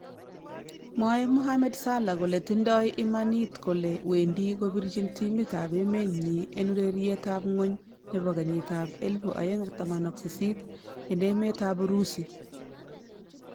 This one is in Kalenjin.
Mwae mohamed Salah kole tindoi imanit kole wendi obirchin timit ab emet nyin en ureriet ab ng'wony nebo kenyit ab 2018 en emet ab Urusi